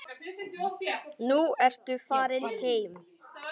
Nú ertu farinn heim.